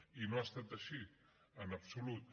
i no ha estat així en absolut